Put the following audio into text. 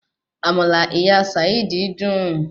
Àmàlà ìyá Sàídì dùn